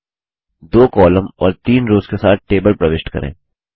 2 column और 3 rows के साथ टेबल प्रविष्ट करें